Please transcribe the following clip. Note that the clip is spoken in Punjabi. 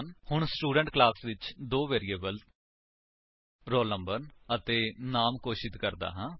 ਹੁਣ ਸਟੂਡੈਂਟ ਕਲਾਸ ਵਿੱਚ ਮੈਂ ਦੋ ਵੇਰਿਏਬਲਸ ਰੋਲ ਨੰਬਰ ਅਤੇ ਨਾਮੇ ਘੋਸ਼ਿਤ ਕਰਦਾ ਹਾਂ